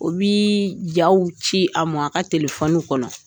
U bɛ jaw ci a ma a ka tifɔni kɔnɔ